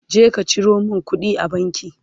je ka Ciro min kuɗi a banki!